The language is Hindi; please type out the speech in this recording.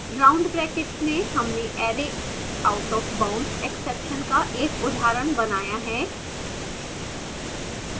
round brackets में हमने arrayindexoutofboundsexception का एक उदाहरण बनाया है